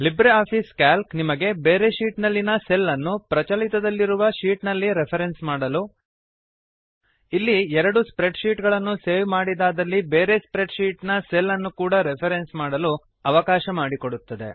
Libre office Calc ನಿಮಗೆ ಬೇರೆ sheet ನಲ್ಲಿನ ಸೆಲ್ ಅನ್ನು ಪ್ರಚಲಿತದಲ್ಲಿರುವ ಶೀಟ್ ನಲ್ಲಿ ರೆಫ್ರೆನ್ಸ್ ಮಾಡಲು ಇಲ್ಲಿಎರಡು ಸ್ಪ್ರೆಡ್ ಶೀಟ್ ಗಳನ್ನು ಸೇವ್ ಮಾಡಿದಾದಲ್ಲಿ ಬೇರೆ ಸ್ಪ್ರೆಡ್ ಶೀಟ್ ನ ಸೆಲ್ ಅನ್ನು ಕೂಡ ರೆಫ್ರೆನ್ಸ್ ಮಾಡಲು ಅವಕಾಶವನ್ನು ಮಾಡಿಕೊಡುತ್ತದೆ